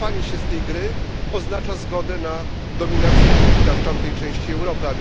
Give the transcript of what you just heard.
Wycofanie się z tej gry oznacza zgodę na dominację Putina w tamtej części Europy.